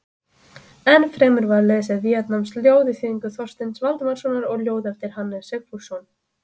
Ennfremur var lesið víetnamskt ljóð í þýðingu Þorsteins Valdimarssonar og ljóð eftir Hannes Sigfússon.